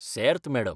सेर्त, madam.